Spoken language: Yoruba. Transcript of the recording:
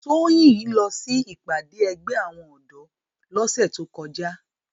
Toyin ó lò si ipàdé ègbè áwòn òdò lòsè tókòjá